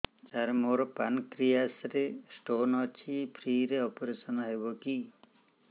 ସାର ମୋର ପାନକ୍ରିଆସ ରେ ସ୍ଟୋନ ଅଛି ଫ୍ରି ରେ ଅପେରସନ ହେବ କି